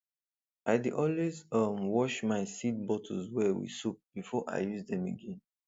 i dey always um wash my seed bottles well with soap before i use dem again